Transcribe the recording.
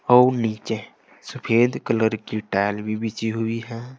और नीचे सफेद कलर की टाइल भी बिछी हुई है।